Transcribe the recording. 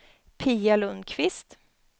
Pia Lundkvist